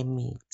emithi.